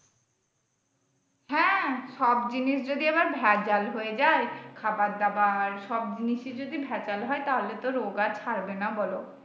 হ্যাঁ সব জিনিস যদি আবার ভেজাল হয়ে যাই, খাবার দাবার সব জিনিষই যদি ভেজাল হয় তাহলে তো রোগ আর ছাড়বেনা বলো।